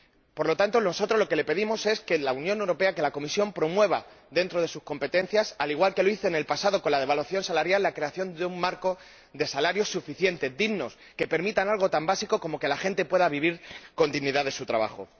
Por lo tanto, nosotros lo que les pedimos es que, en la Unión Europea, la Comisión promueva, dentro de sus competencias —al igual que lo hizo en el pasado, con la devaluación salarial—, la creación de un marco de salarios suficientes, dignos, que permitan algo tan básico como que la gente pueda vivir con dignidad de su trabajo.